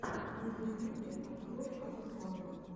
на ютубе открой обзоры